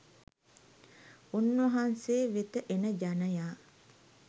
උන්වහන්සේ වෙත එන ජනයා